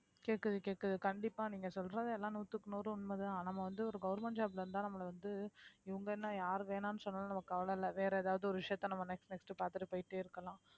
கேக்குது கேக்குது கண்டிப்பா நீங்க சொல்றது எல்லாம் நூத்துக்கு நூறு உண்மைதான் நம்ம வந்து ஒரு government job ல இருந்த நம்மளை வந்து இவுங்க என்ன யாரு வேணாம்னு சொன்னாலும் நமக்கு கவலை இல்லை வேற ஏதாவது ஒரு விஷயத்த நம்ம next next பார்த்துட்டு போயிட்டே இருக்கலாம்